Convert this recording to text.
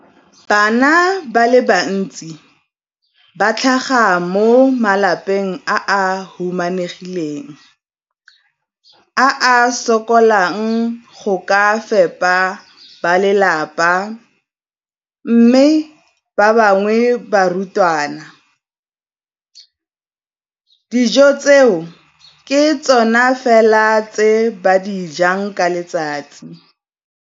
Bana ba le bantsi ba tlhaga mo malapeng a a humanegileng a a sokolang go ka fepa ba lelapa mme ba bangwe ba barutwana, dijo tseo ke tsona fela tse ba di jang ka letsatsi.